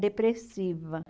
Depressiva.